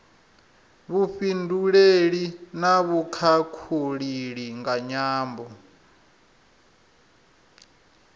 vhufhinduleli na vhukhakhulili nga nyambo